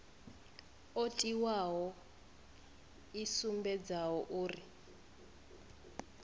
o tiwaho i sumbedzaho uri